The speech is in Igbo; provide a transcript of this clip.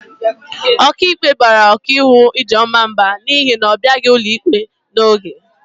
Ọkaikpe bara ọkaiwu Ijeọma mba n'ihi na ọ bịaghị ụlọikpe n'oge.